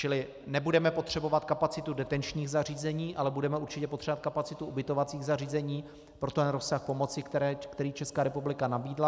Čili nebudeme potřebovat kapacitu detenčních zařízení, ale budeme určitě potřebovat kapacitu ubytovacích zařízení pro ten rozsah pomoci, který Česká republika nabídla.